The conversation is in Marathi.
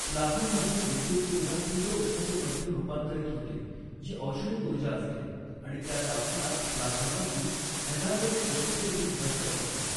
प्लाझ्मामध्ये विद्युतऊर्जा तीव्र उष्णतेमध्ये रूपांतरित होते जी औष्णिक उर्जा असते आणि त्या तापमानात प्लाझ्मा अगदी हॅझार्डस वेस्टदेखील नष्ट करते.